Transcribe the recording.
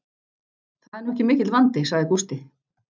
Það er nú ekki mikill vandi, sagði Gústi.